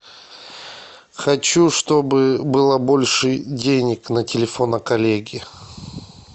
хочу чтобы было больше денег на телефоне коллеги